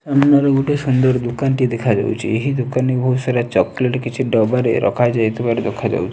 ସାମ୍ନାରେ ଗୋଟେ ସୁନ୍ଦର୍ ଦୋକାନ ଟିଏ ଦେଖାଯାଉଚି। ଏହି ଦୋକାନି ବହୁତ ସାରା ଚକୋଲେଟ୍ କିଛି ଡବାରେ ରଖା ଯାଇଥିବାର ଦେଖା ଯାଉଚି।